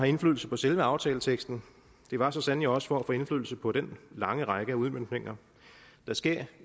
indflydelse på selve aftaleteksten det var så sandelig også for at få indflydelse på den lange række af udmøntninger der sker